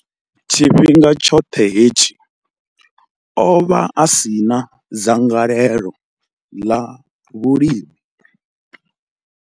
Tshifhinga tshoṱhe hetshi, o vha a si na dzangalelo ḽa vhulimi.